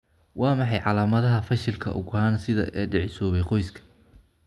Waa maxay calaamadaha iyo calaamadaha fashilka ugxan-sidaha ee dhicisoobay, qoyska?